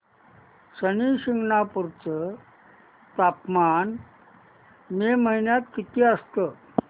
शनी शिंगणापूर चं तापमान मे महिन्यात किती असतं